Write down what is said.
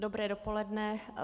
Dobré dopoledne.